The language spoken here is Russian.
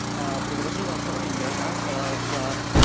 аа предложил оформить гражданство в